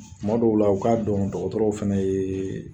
Kuma dɔw la u k'a dɔn dɔkɔtɔrɔw fɛnɛ ye